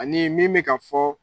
Ani min bɛ ka fɔɔ